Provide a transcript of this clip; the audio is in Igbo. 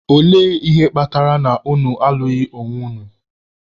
Ole ihe kpatara na unu alụghị onwe unu?